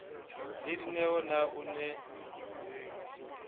le dineo na o ne